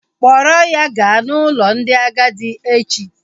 Kpọrọ ya gaa n'ụlọ ndị agadi echi!